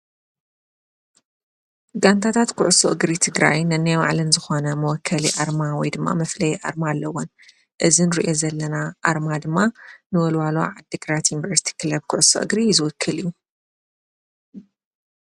ጋንታታት ኲዕሶ እግሪ ትግራይ ነናይ ባዕለን ዝኾነ መወከሊ ኣርማ ወይ ድማ መፍለይ ኣርማ ኣለውን። እዚ እንርእየ ዘለና ኣርማ ድማ ንወልዋሉ ዓድ ግራት ዩንቨርስቲ ክለብ ኲዕሶ እግሪ ዝወክል እዩ።